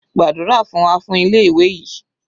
Gbàdúrà fún wa fún ilé ìwé yìí.